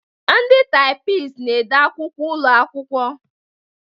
Ndị taịpisti na-ede akwụkwọ ụlọ akwụkwọ.